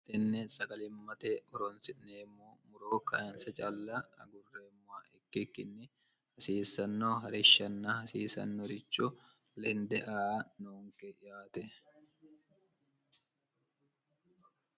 tenne sagalimmate oronsi'neemmo muroo kayinsa calla agurreemmowa ikkikkinni hasiissanno harishshanna hasiisannorichu lende aa noonke yaate